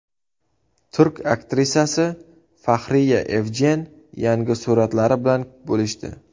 Turk aktrisasi Fahriye Evjen yangi suratlari bilan bo‘lishdi.